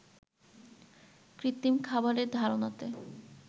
কৃত্রিম খাবারের ধারনাতে